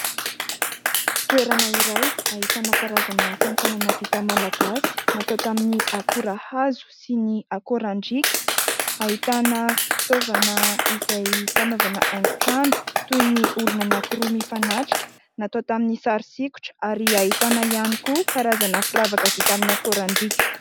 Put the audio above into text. Toerana iray ahitana karazana asa tanana vita malagasy natao tamin'ny akora hazo sy ny akorandriaka. Ahitana fitaovana izay fanaovana haingo trano toy ny olona anankiroa mifanatrika natao tamin'ny sary sikotra ary ahitana ihany koa karazana firavaka vita amin'ny akorandriaka.